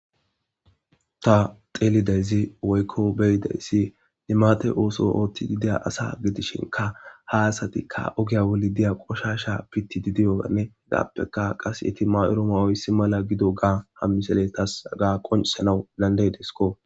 ta xeelidayzi woykko beyidayssi nimate ooso oothti gideya asa gidishinka ha asatikka ogya woli diya qoshasha pitidi diyoanne hegappeka qas yeti mayoro ma woyssi mala gido gaa ha misele tas aga qoncisanau landay disko